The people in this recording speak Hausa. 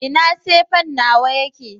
ina sefen nawa yake?